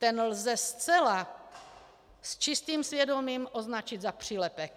Ten lze zcela s čistým svědomím označit za přílepek.